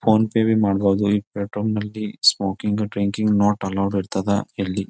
Phone pay ಬಿ ಮಾಡಬೋಹದ ಈ ಪೆಟ್ರೋಲ್ ನಲ್ಲಿ ಸ್ಮೋಕಿಂಗ್ ಡ್ರಿಂಕಿಂಗ್ ನಾಟ್ ಅಲೋವೆಡ್ ಇರ್ತದ ಇಲ್ಲಿ.